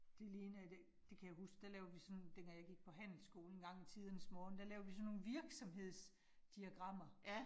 Det ligner det det kan jeg huske, der lavede vi sådan dengang jeg gik på handelsskolen en gang i tidernes morgen, der lavede vi sådan nogle virksomhedsdiagrammer